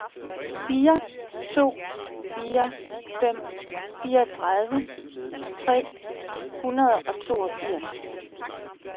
fire to fire fem fireogtredive tre hundrede og toogfirs